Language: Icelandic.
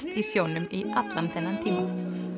í sjónum í allan þennan tíma